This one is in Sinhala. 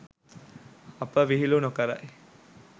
අප විහිලු නොකරයි